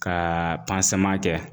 Ka kɛ.